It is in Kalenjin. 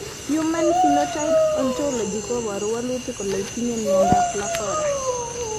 Human Phenotype Ontology koporu wolutik kole itinye Miondap Lafora.